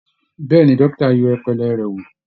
Bẹ́ẹ̀ ni, dókítà á yẹ ọpọlọ rẹ̀ wò